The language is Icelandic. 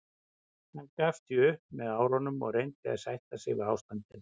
Hann gafst því upp með árunum og reyndi að sætta sig við ástandið.